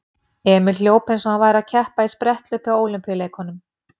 Emil hljóp eins og hann væri að keppa í spretthlaupi á Ólympíuleikunum.